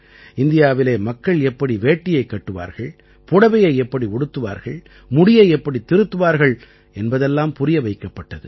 இந்தியாவிலே மக்கள் எப்படி வேட்டியைக் கட்டுவார்கள் புடவையை எப்படி உடுத்துவார்கள் முடியை எப்படித் திருத்துவார்கள் என்பதெல்லாம் புரிய வைக்கப்பட்டது